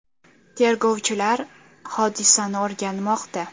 Tergovchilar hodisani o‘rganmoqda.